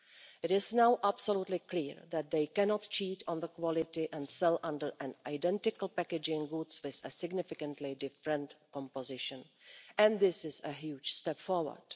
It is now absolutely clear that they cannot cheat on the quality and sell under identical packaging foods with a significantly different composition, and this is a huge step forward.